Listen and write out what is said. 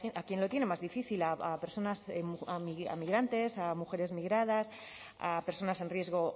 a quien lo tiene más difícil a personas migrantes a mujeres migradas a personas en riesgo